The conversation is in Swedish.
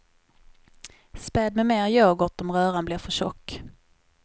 Späd med mer yoghurt om röran blir för tjock.